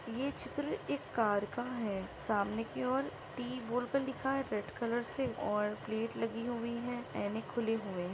ये चित्र एक कार का है। सामने की औऱ टी बोल कर लिखा है रेड कलर से औऱ प्लेट लागी हुई है। आईने खुले हुए है।